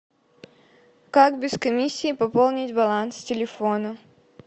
как без комиссии пополнить баланс телефона